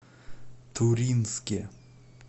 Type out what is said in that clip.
туринске